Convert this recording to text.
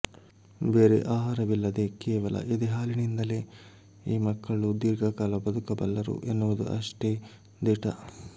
ಬೇರೆ ಆಹಾರವಿಲ್ಲದೆ ಕೇವಲ ಎದೆಹಾಲಿನಿಂದಲೇ ಈ ಮಕ್ಕಳು ದೀರ್ಘಕಾಲ ಬದುಕಬಲ್ಲರು ಎನ್ನುವುದೂ ಅಷ್ಟೇ ದಿಟ